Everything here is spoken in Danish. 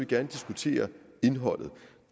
gerne diskutere indholdet